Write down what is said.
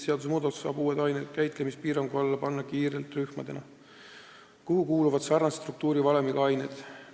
Seadusemuudatusega saab uued ained käitlemispiirangu alla panna kiirelt rühmadena, kuhu kuuluvad sarnase struktuurivalemiga ained.